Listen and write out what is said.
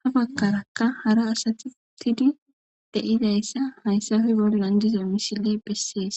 ,ha bagarakka hara asati utidi de'zayssaka haysappe bollan diza misile bessees